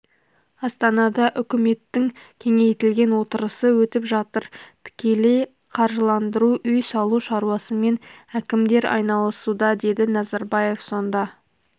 астанада үкіметтің кеңейтілген отырысы өтіп жатыр тікелей қаржыландыру үй салу шаруасымен әкімдер айналысуда деді назарбаев сонда